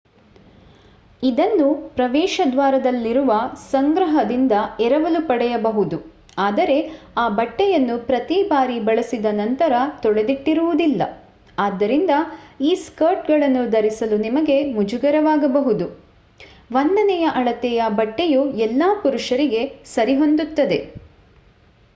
ಇದನ್ನು ಪ್ರವೇಶದ್ವಾರದಲ್ಲಿರುವ ಸಂಗ್ರಹದಿಂದ ಎರವಲು ಪಡೆಯಬಹುದು ಆದರೆ ಆ ಬಟ್ಟೆಯನ್ನು ಪ್ರತಿ ಬಾರಿ ಬಳಸಿದ ನಂತರ ತೊಳೆದಿಟ್ಟಿರುವುದಿಲ್ಲ ಆದ್ದರಿಂದ ಈ ಸ್ಕರ್ಟ್‌ಗಳನ್ನು ಧರಿಸಲು ನಿಮಗೆ ಮುಜುಗರವಾಗಬಹುದು. ಒಂದನೆಯ ಅಳತೆಯ ಬಟ್ಟೆಯು ಎಲ್ಲಾ ಪುರುಷರಿಗೆ ಸರಿಹೊಂದುತ್ತದೆ!